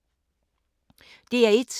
DR1